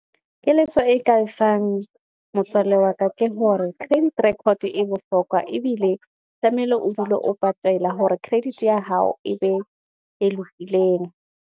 Keletso e ka e fang, motswalle wa ka ke hore credit record e bohlokwa ebile tlameile o dule o patela hore credit ya hao e be e lokileng.